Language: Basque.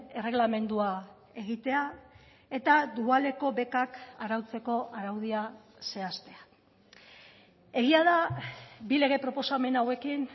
erregelamendua egitea eta dualeko bekak arautzeko araudia zehaztea egia da bi lege proposamen hauekin